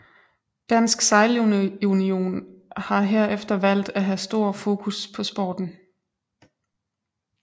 Dansk Sejlunion har herefter valgt at have stor fokus på sporten